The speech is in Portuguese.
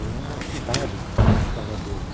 É uma cidade que está lá dentro.